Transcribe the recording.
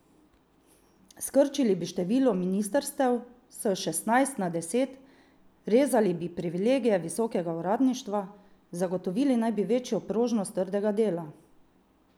Skrčili bi število ministrstev s šestnajst na deset, rezali bi privilegije visokega uradništva, zagotovili naj bi večjo prožnost trga dela.